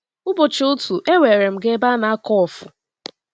Ụbọchị otu, e weere m gaa ebe a na-akụ ọfụ.